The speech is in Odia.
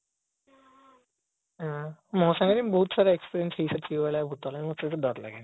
ହଁ ମୋ ସାଙ୍ଗରେ ବହୁତ ଥର experience ହେଇସାରିଛି ଏଇଭଳିଆ ଭୁତର ମତେ ମତେ ସେଥିଲାଗି ଦର ଲଗେନି